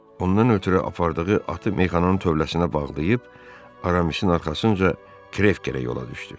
Ondan ötrü apardığı atı meyxananın tövləsinə bağlayıb Aramisin arxasınca Kreftə yola düşdü.